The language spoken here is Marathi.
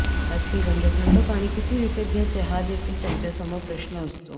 बाटलीबंद थंड पाणी किती विकत घ्यायचे हा देखील त्यांच्यासमोर प्रश्न असतो